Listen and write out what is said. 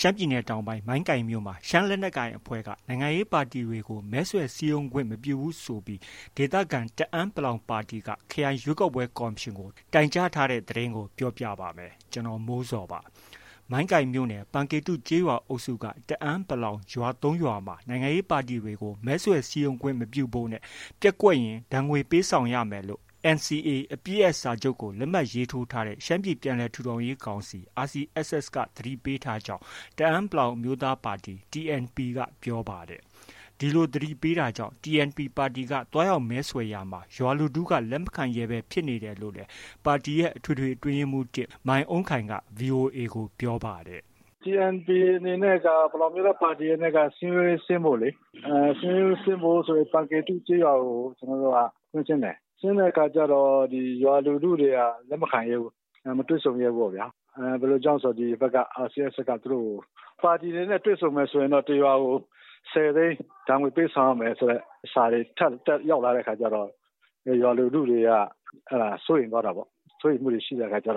ရှမ်းပြည်နယ်တောင်ပိုင်း မိုင်းကိုင်မြို့နယ်မှာ ရှမ်းလက်ကိုင်အဖွဲ့က နိုင်ငံရေးပါတီတွေကို မဲဆွယ်စည်းရုံးခွင့်မပြုဘူးဆိုပြီး ဒေသခံ တအန်း(ပလောင်) ပါတီက၊ ခရိုင်ရွေးကောက်ပွဲကော်မရှင်ကို တိုင်ကြားထားတဲ့သတင်းကို ဗွီအိုအေမြန်မာပိုင်းသတင်းထောက် ကိုမိုးဇော်က ပြောပြပေးပါမယ်။ မိုင်းကိုင်မြို့နယ်၊ ပန်ကေတုကျေးရွာအုပ်စုက တအန်း(ပလောင်)ရွာ ၃ ရွာမှာ နိုင်ငံရေးပါတီတွေကို မဲဆွယ်စည်းရုံးခွင့်မပြုဖို့နဲ့ ပျက်ကွက်ခဲ့ရင် ဒဏ်ငွေပေးဆောင်ရမယ်လို့ NCA အပစ်ရပ်စာချုပ်ကို လက်မှတ်ရေးထိုးထားတဲ့ ရှမ်းပြည်ပြန်လည် ထူထောင်ရေးကောင်စီ RCSS က သတိပေးထားကြောင်း တအန်း(ပလောင်) အမျိုးသားပါတီ TNP ကပြောပါတယ်။ ဒီလိုသတိပေးထားတာကြောင့် TNP ပါတီက သွားရောက်မဲဆွယ်ရာမှာ ရွာလူထုက လက်မခံရဲဘဲ ဖြစ်နေတယ်လို့လည်း ပါတီရဲ့ အထွေထွေအတွင်းရေးမှူး ၁၊ မိုင်းအုန်းခိုင်က VOA ကို ပြောပါတယ်။ “TNP အနေနဲ့က ပလောင်အမျိုးသားပါတီအနေနဲ့က စည်းရုံးရေးဆင်းဖို့လေ။ စည်းရုံးရေးဆင်းဖို့ဆို ပန်ကေတု ကျေးရွာကို ကျနော်တို့က ကွင်းဆင်းတယ်။ ဆင်းတဲ့အခါကျတော့ ရွာလူထုတွေက လက်ခံရဲဘူး။ မတွေ့ဆုံရဲဘူးပေါ့ဗျာ။ ဘယ်လိုကြောင့်ဆို ဒီဘက်က RCSS က သူတို့ကို ပါတီတွေနဲ့ တွေ့ဆုံမယ်ဆိုရင်တော့ တစ်ရွာကို ၁၀သိန်း ဒဏ်ငွေ ပေးဆောင်ရမယ်ဆိုတဲ့ ထပ်ထပ်ရောက်လာတဲ့အခါကျတော့ ရွာလူထုတွေက စိုးရိမ်သွားတာပေါ့။ စိုးရိမ်မှုတွေဖြစ်တဲ့အခါက